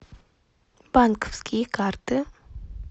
банковские карты